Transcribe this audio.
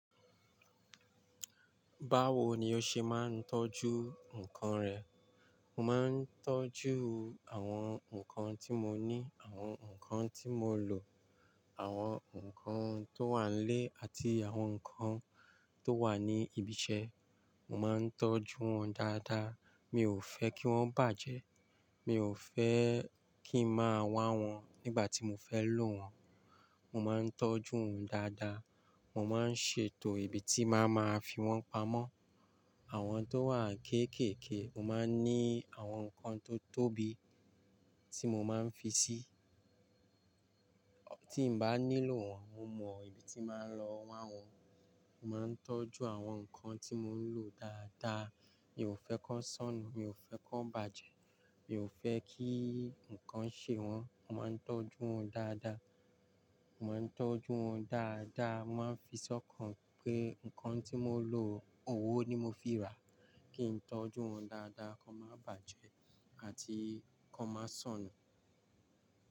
Báwo ni o ṣe máa ń tọ́jú nǹkan rẹ? Mo máa ń tọ́jú àwọn nǹkan tí mo ní, àwọn nǹkan tí mo lò, àwọn nǹkan tó wà n lé àti àwọn nǹkan tó wà ní ibi iṣẹ́, mo máa ń tọ́jú wọn dáadáa. Mi ò fẹ́ kí wọ́n bàjẹ́, mi ò fẹ́ kí ń máa wá wọn nígbà tí mo fẹ́ lò wọ́n. Mo máa ń tọ́jú wọn dáadáa. Mo máa ń ṣètò ibi tí bàá máa fi wọ́n pamọ́. Àwọn tó wà kéékèèké, mo máa ń ní àwọn nǹkan tó tóbi tí mo máa ń fi sí. Tí n bá nílò wọ́n, mo mọ ibi tí màá lọ wa wọ́n. Mo máa ń tọ́jú àwọn nǹkan tí mo ń lò dáadáa. Mi ò fẹ́ kí wọ́n sọnù, mi ò fẹ́ kí wọ́n bàjẹ́, mi ò fẹ́ kí nǹkan ṣe wọ́n. Mo máa ń tọ́jú wọn dáadáa. Mo máa ń tọ́jú wọn dáadáa. Mo máa ń fi sọ́kàn pé, nǹkan tí mo lò, owó ni mo fi rà kí ń tọ́jú wọn dáadáa kó má bàjẹ́ àti kó máa sọnù.